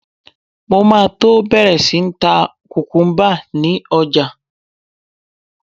Mo máa tó bẹ̀rẹ̀ sí ń ta kùkúmbà ni ọjà.